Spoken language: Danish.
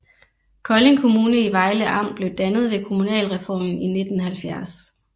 Kolding Kommune i Vejle Amt blev dannet ved kommunalreformen i 1970